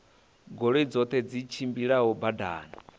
goloi dzoṱhe dzi tshimbilaho badani